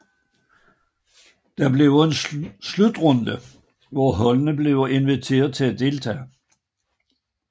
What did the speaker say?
Det bliver en slutrunde hvor holdene blive inviteret til at deltage